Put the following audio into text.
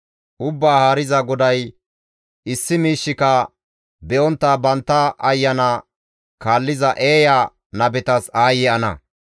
Ubbaa Haariza GODAY, ‹Issi miishshika be7ontta bantta ayana kaalliza eeya nabetas aayye ana!